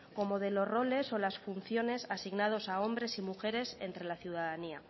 como de los roles o las funciones asignados a hombres y mujeres entre la ciudadanía